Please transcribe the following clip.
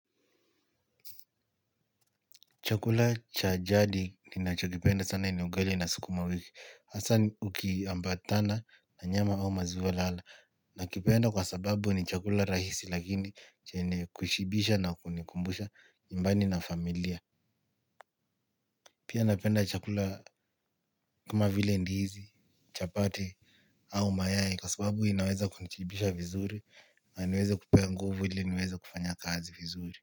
Chakula cha jadi kinachonipenda sana ni ugali na sukuma wiki. Hasa ukiambatana na nyama au maziwe lala. Nakipenda kwa sababu ni chakula rahisi lakini chenye kushibisha na kunikumbusha nyumbani na familia. Pia napenda chakula kama vile ndizi. Chapati au mayai kwa sababu inaweza kunishibisha vizuri. Na niweze kupewa nguvu ili niweze kufanya kazi vizuri.